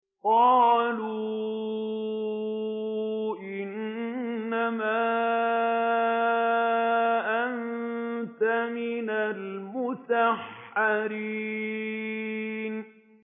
قَالُوا إِنَّمَا أَنتَ مِنَ الْمُسَحَّرِينَ